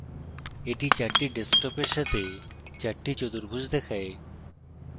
এটি 4 ডেস্কটপের সাথে 4 টি চতুর্ভুজ দেখায়